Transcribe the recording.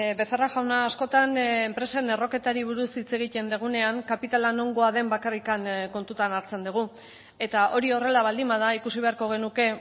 becerra jauna askotan enpresen erroketari buruz hitz egiten dugunean kapitala nongoa den bakarrik kontutan hartzen dugu eta hori horrela baldin bada ikusi beharko genuke